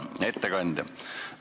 Hea ettekandja!